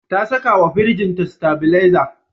Ta sakawa firinjinta sitabileza.